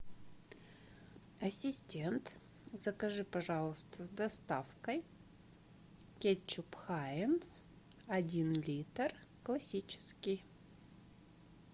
ассистент закажи пожалуйста с доставкой кетчуп хайнц один литр классический